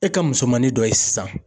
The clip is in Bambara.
E ka musomanin dɔ ye sisan